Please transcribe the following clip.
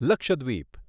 Lakshadweep